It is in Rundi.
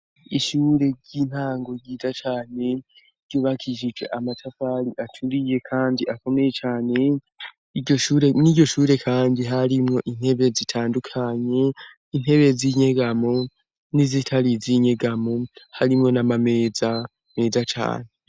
Ishure ry'intango ryiza cane ryubakisihje amatafari aturiye kandi akomeye cane n'iryoshure kandi harimwo intebe zitandukanye intebe z'inyegamo n'izitari izinyegamo, harimwo n'amameza meza cane.